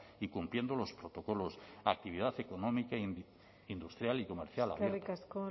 y cumpliendo los protocolos actividad económica industrial y comercial abierta eskerrik asko